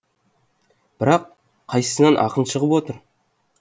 бірақ қайсысынан ақын шығып отыр